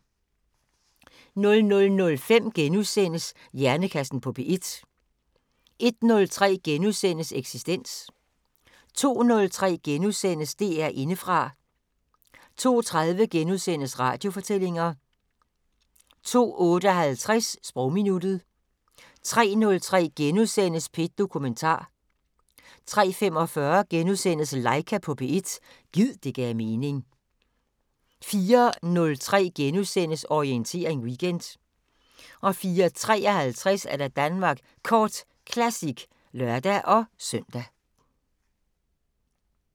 00:05: Hjernekassen på P1 * 01:03: Eksistens * 02:03: DR Indefra * 02:30: Radiofortællinger * 02:58: Sprogminuttet 03:03: P1 Dokumentar * 03:45: Laika på P1 – gid det gav mening * 04:03: Orientering Weekend * 04:53: Danmark Kort Classic (lør-søn)